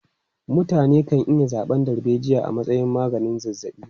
Mutane kan iya zaɓan darbejiya a matsayin maganin zazzaɓi.